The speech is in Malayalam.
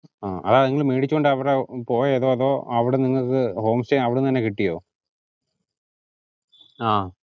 ഡാ നിങ്ങള് മേടിച്ചോണ്ടു അവിടെ വരെ പോയതോ അതോ നിങ്ങള്ക്ക് home stay അവിടെ നിന്ന് തന്നെ കിട്ടിയോ? അഹ്